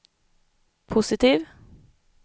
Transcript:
positiv